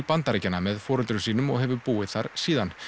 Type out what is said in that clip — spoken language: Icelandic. Bandaríkjanna með foreldrum sínum og hefur búið þar síðan